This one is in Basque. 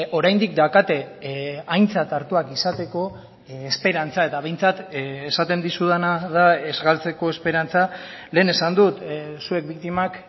oraindik daukate aintzat hartuak izateko esperantza eta behintzat esaten dizudana da ez galtzeko esperantza lehen esan dut zuek biktimak